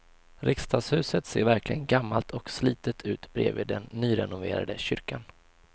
Riksdagshuset ser verkligen gammalt och slitet ut bredvid den nyrenoverade kyrkan.